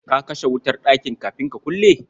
Ka kashe wutar ɗakin kafin ka kulle?